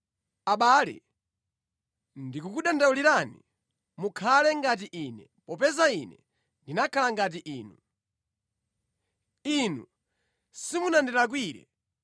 Abale, ndikukudandaulirani, mukhale ngati ine, popeza ine ndinakhala ngati inu. Inu simunandilakwire.